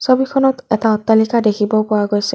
ছবিখনত এটা অট্টালিকা দেখিব পোৱা গৈছে।